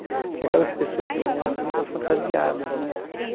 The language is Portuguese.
Porque aquelas pessoas que vão lá também estão fantasiadas, né?